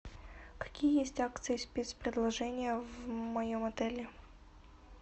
какие есть акции и спец предложения в моем отеле